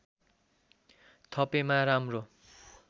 थपेमा राम्रो